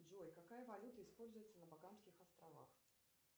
джой какая валюта используется на богамских островах